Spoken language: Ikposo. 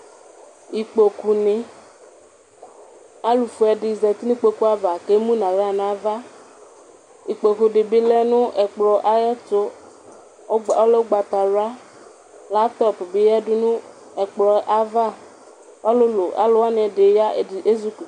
ikpokpo ni alu fué di zɛti nu kpokpoava ké mu na wlă na ava ikpokpu di bi lɛ nu ɛkplɔ ayɛ tul ɔlɛ ugbata wlua latɔ di bi ya du nu ɛkplɔɛ ava ɔlulu alu wani ɛdi ya ɛdi ézukuti